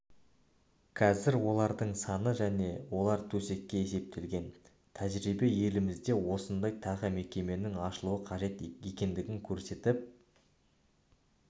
қазір олардың саны және олар төсекке есептелген тәжірибе елімізде осындай тағы мекеменің ашылуы қажет екендігін көрсетіп